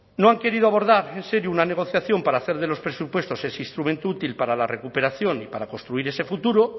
no han querido abordar en serio una negociación para hacer de los presupuestos ese instrumento útil para la recuperación y para construir ese futuro